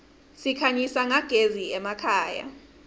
sikhanyisa nyagezi emakhaya